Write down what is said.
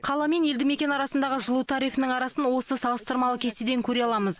қала мен елді мекен арасындағы жылу тарифінің арасын осы салыстырмалы кестеден көре аламыз